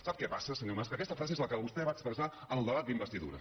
sap què passa senyor mas que aquesta frase és la que vostè va expressar en el debat d’investidura